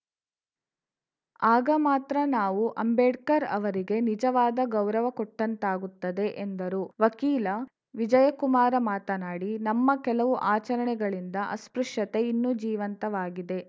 ಆಗ ಮಾತ್ರ ನಾವು ಅಂಬೇಡ್ಕರ್‌ ಅವರಿಗೆ ನಿಜವಾದ ಗೌರವ ಕೊಟ್ಟಂತಾಗುತ್ತದೆ ಎಂದರು ವಕೀಲ ವಿಜಯಕುಮಾರ ಮಾತನಾಡಿ ನಮ್ಮ ಕೆಲವು ಆಚರಣೆಗಳಿಂದ ಅಸ್ಪೃಶ್ಯತೆ ಇನ್ನೂ ಜೀವಂತವಾಗಿದೆ